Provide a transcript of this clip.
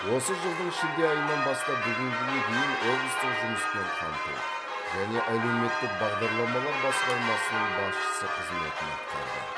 осы жылдың шілде айынан бастап бүгінге дейін облыстық жұмыспен қамту және әлеуметтік бағдарламалар басқармасының басшысы қызметін атқарды